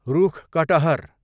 रूख कटहर